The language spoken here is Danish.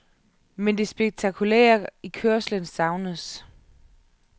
Men det spektakulære i kørslen savnedes.